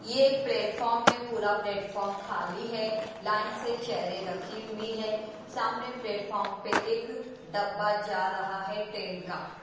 यह एक प्लेटफार्म है पूरा प्लेटफार्म खाली है लाइन से चेयरें रखी हुई हैं सामने प्लेटफार्म पे एक डब्बा जा रहा है ट्रेन का।